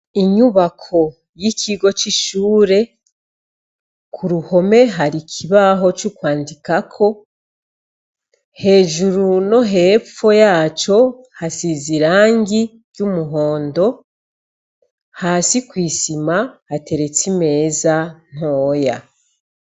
Inyubako y'ikigo c'ishure ku ruhome hari ikibaho co kwandikako hejuru no hepfo yaco hasize irangi ry'umuhondo hasi kw'isima hateretse imeza ntoya.